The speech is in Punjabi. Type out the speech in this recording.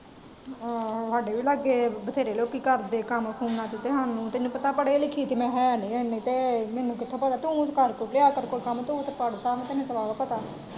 ਆਹੋ ਸਾਡੇ ਵੀ ਲਾਗੇ ਬਥੇਰੇ ਲੋਕੀ ਕਰਦੇ ਕੰਮ ਫੋਨ ਚ ਤੇ ਹੰਉ ਤੈਨੂੰ ਪੜ੍ਹੇ ਲਿਖੇ ਤੇ ਹੈ ਨੀ ਇਹਨੇ ਤੇ ਮੇਨੂ ਕਿਥੇ ਪਲਾਂ ਤੂੰ ਤੇ ਕਰ ਕੁਰ ਲਿਆ ਕੋਇ ਕੰਮ ਤੂੰ ਤੇ ਪੜ੍ਹਦਾ ਤੈਨੂੰ ਤੇ ਪ੍ਰਵਾ ਪਤਾ।